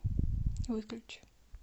выключи